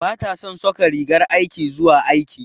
Bata son saka rigar aiki zuwa aiki.